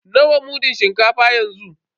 Nawa mudun shinkafa yanzu?